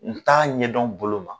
N t'a ɲɛdɔn bolo ma.